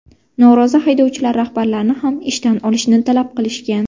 Norozi haydovchilar rahbarlarini ham ishdan olishni talab qilishgan.